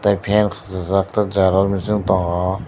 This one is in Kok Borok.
fan rijak tei xerox machine tongo.